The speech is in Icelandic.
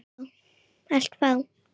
Allt frá